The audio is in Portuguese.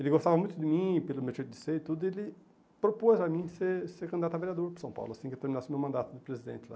Ele gostava muito de mim, pelo meu jeito de ser e tudo, e ele propôs a mim ser ser candidato a vereador para São Paulo, assim que eu terminasse o meu mandato de presidente lá.